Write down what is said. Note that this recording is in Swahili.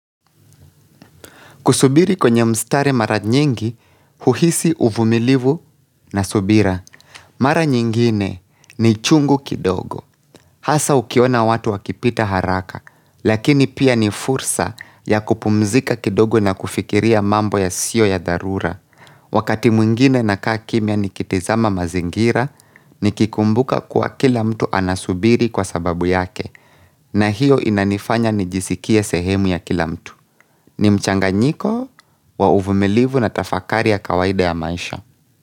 Kusubiri kwenye mstari mara nyingi, huhisi uvumilivu na subira. Mara nyingine ni chungu kidogo. Hasa ukiona watu wakipita haraka, lakini pia ni fursa ya kupumzika kidogo na kufikiria mambo yasiyo ya dharura. Wakati mwingine ninakaa kimia nikitizama mazingira, nikikumbuka kuwa kila mtu anasubiri kwa sababu yake, na hiyo inanifanya nijisikie sehemu ya kila mtu. Ni mchanganyiko wa uvumilivu na tafakari ya kawaida ya maisha.